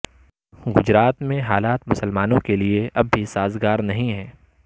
گجرات میں حالات مسلمانوں کے لیے اب بھی سازگار نہیں ہیں